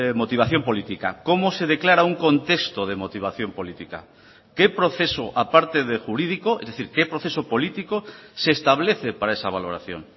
motivación política cómo se declara un contexto de motivación política qué proceso aparte de jurídico es decir que proceso político se establece para esa valoración